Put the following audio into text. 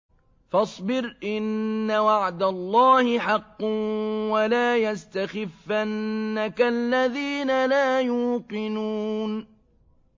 فَاصْبِرْ إِنَّ وَعْدَ اللَّهِ حَقٌّ ۖ وَلَا يَسْتَخِفَّنَّكَ الَّذِينَ لَا يُوقِنُونَ